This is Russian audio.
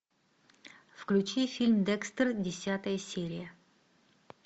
включи фильм декстер десятая серия